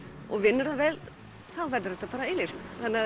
og vinnur það vel þá verður þetta bara eilíft